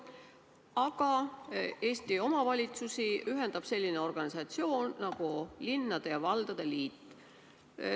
Aga Eesti omavalitsusi ühendab selline organisatsioon nagu linnade ja valdade liit.